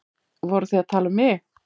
Voruð þið að tala um mig?